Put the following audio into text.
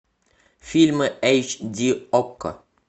фильмы эйч ди окко